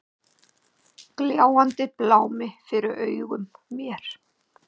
Gljáandi blámi fyrir augum mér.